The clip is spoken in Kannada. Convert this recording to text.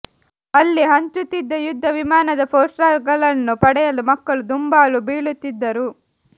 ಅಲ್ಲಿ ಹಂಚುತ್ತಿದ್ದ ಯುದ್ಧ ವಿಮಾನದ ಪೋಸ್ಟರ್ಗಳನ್ನು ಪಡೆಯಲು ಮಕ್ಕಳು ದುಂಬಾಲು ಬೀಳುತ್ತಿದ್ದರು